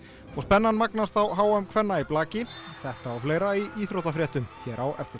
og spennan magnast á h m kvenna í blaki þetta og fleira í íþróttafréttum hér á eftir